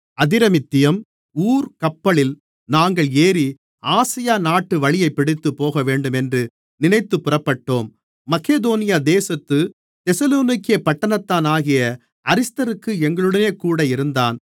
Adramyttium ஊர்க்கப்பலில் நாங்கள் ஏறி ஆசியா நாட்டு வழியைபிடித்துப் போகவேண்டுமென்று நினைத்துப் புறப்பட்டோம் மக்கெதோனியா தேசத்துத் தெசலோனிக்கே பட்டணத்தானாகிய அரிஸ்தர்க்கு எங்களுடனேகூட இருந்தான்